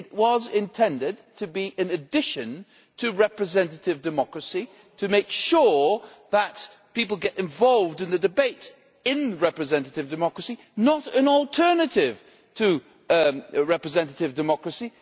It was intended to be an addition to representative democracy, to make sure that people get involved in the debate in representative democracy, not an alternative to representative democracy.